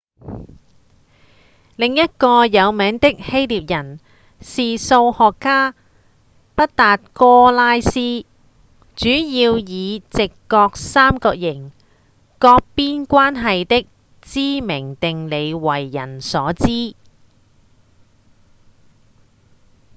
另一個有名的希臘人是數學家畢達哥拉斯主要以直角三角形各邊關係的知名定理為人所知